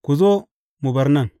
Ku zo, mu bar nan.